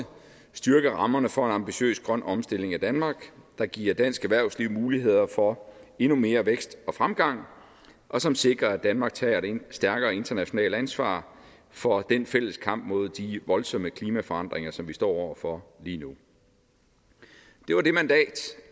styrke rammerne for en ambitiøs grøn omstilling af danmark der giver dansk erhvervsliv muligheder for endnu mere vækst og fremgang og som sikrer at danmark tager et stærkere internationalt ansvar for den fælles kamp mod de voldsomme klimaforandringer som vi står over for lige nu det var